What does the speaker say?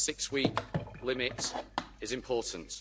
the six-week limit is important.